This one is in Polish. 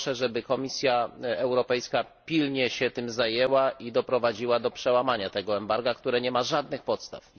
Proszę, żeby Komisja Europejska pilnie się tym zajęła i doprowadziła do przełamania tego embarga, które nie ma żadnych podstaw.